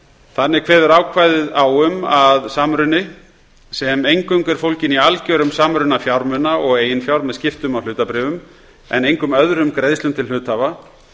þannig kveður ákvæðið á um að samruni sem eingöngu er fólginn í algjörum samruna fjármuna og eigin fjár með skiptum á hlutabréfum en engum öðrum greiðslum til hluthafa